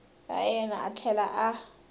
ra yena a tlhela a